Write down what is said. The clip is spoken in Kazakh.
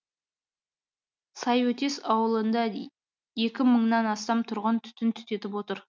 сайөтес ауылында екі мыңнан астам тұрғын түтін түтетіп отыр